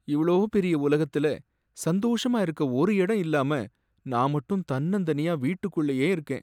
இவ்ளோ பெரிய உலகத்துல சந்தோஷமா இருக்க ஒரு இடம் இல்லாம நான் மட்டும் தன்னந்தனியா வீட்டுக்குள்ளயே இருக்கேன்.